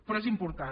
però és important